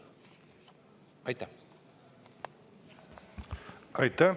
Aitäh!